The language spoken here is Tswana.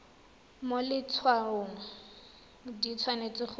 mo letshwaong di tshwanetse go